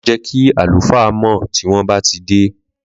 Ma je kí àlùfáà mọ tí wọn bá ti dé